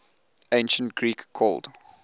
ancient greek called